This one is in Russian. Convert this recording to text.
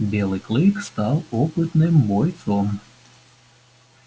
белый клык стал опытным бойцом